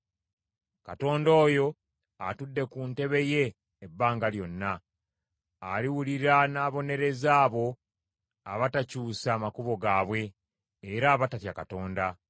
Katonda oyo atudde ku ntebe ye ebbanga lyonna, aliwulira n’ababonereza abo abatakyusa makubo gaabwe era abatatya Katonda.